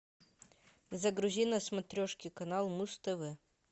загрузи на смотрешке канал муз тв